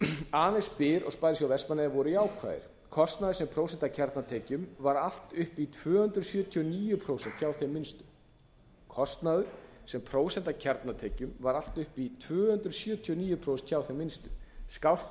aðeins byr og sparisjóður vestmannaeyja voru jákvæðir kostnaður sem prósenta af kjarnatekjum var allt upp í tvö hundruð sjötíu og níu prósent hjá þeim minnstu skást